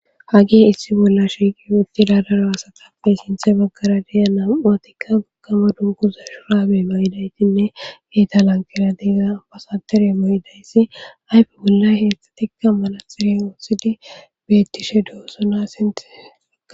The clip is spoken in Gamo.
hagihe issi bolla shiqi uttidadara asatappe sinthe baggara diya nam aatikka gakkama dunkuza shuraabe mayidaytinne geta lankeradiiga abasatere mayidayssi ayfe bolla heetzxzatikka malatirey ootsidi beettishe doosona sinti